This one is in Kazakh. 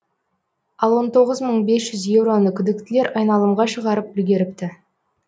ал он тоғыз мың бес жүз еуроны күдіктілер айналымға шығарып үлгеріпті